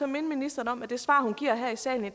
minde ministeren om at det svar hun giver her i salen i